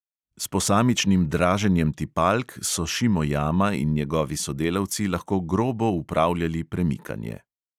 S posamičnim draženjem tipalk so šimojama in njegovi sodelavci lahko grobo upravljali premikanje.